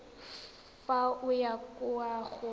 fa o ya kwa go